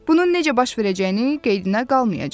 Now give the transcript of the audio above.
Bunun necə baş verəcəyini qeydinə qalmayacam.